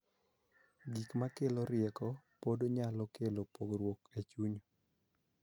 Gik ma kelo rieko pod nyalo kelo pogruok e chuny.